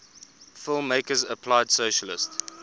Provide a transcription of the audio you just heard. filmmakers applied socialist